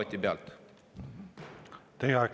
Teie aeg!